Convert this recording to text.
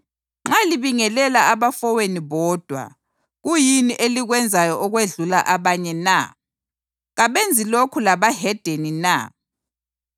Nxa libingelela abafowenu bodwa, kuyini elikwenzayo okwedlula abanye na? Kabenzi lokho labahedeni na?